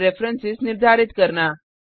और रेफरेंस निर्धारित करना